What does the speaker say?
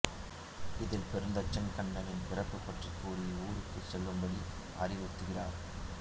இதில் பெருந்தச்சன் கண்ணனின் பிறப்பு பற்றி கூறி ஊருக்குச் செல்லும்படி அறிவுறுத்துகிறார்